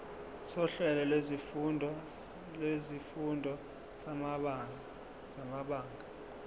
sohlelo lwezifundo samabanga